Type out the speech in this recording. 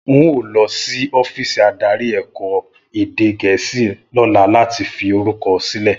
N óò lọ sí ọ́fíìsì adarí ẹ̀ka ẹ̀kọ́ èdè Gẹ̀ẹ́sì lọ́la láti fi orúkọ sílẹ̀